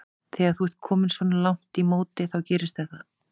Þegar þú ert kominn svona langt í móti þá gerist það.